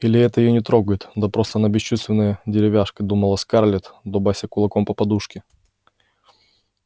или это её не трогает да просто она бесчувственная деревяшка думала скарлетт дубася кулаком по подушке